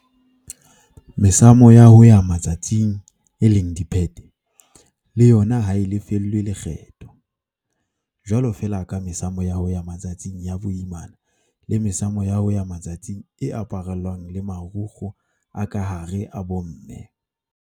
Mesamo ya ho ya matsatsing, diphete, le yona ha e lefellwe lekgetho, jwalo feela ka mesamo ya ho ya matsatsing ya boimana le mesamo ya ho ya matsatsing e aparellwang le marukgwe a ka hare a bomme.